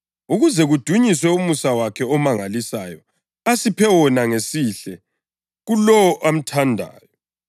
ukuze kudunyiswe umusa wakhe omangalisayo asiphe wona ngesihle kuLowo amthandayo.